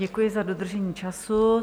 Děkuji za dodržení času.